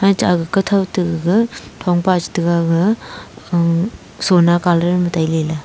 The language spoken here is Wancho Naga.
kathou to gaga thong pa chetaga ga uh sona colour ma tailey ley.